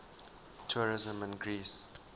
tourism in greece